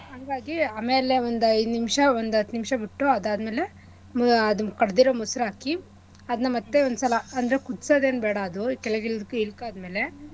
ಹಂಗಾಗಿ ಆಮೇಲೆ ಒಂದ್ ಐದ್ ನಿಮ್ಶ ಒಂದ್ ಹತ್ ನಿಮ್ಶ ಬಿಟ್ಟು ಅದಾದ್ಮೇಲೆ ಹ್ಮ್ ಅದ್ ಕಡ್ಡಿರೊ ಮೊಸ್ರು ಹಾಕಿ ಅದ್ನ ಮತ್ತೇ ಒಂದ್ ಸಲ ಅಂದ್ರೆ ಕುದ್ಸದೇನ್ ಬೇಡ ಅದು ಕೆಳಗ್ ಇಳ್ಸಿ ಇಕ್ಕಾದ್ಮೇಲೆ.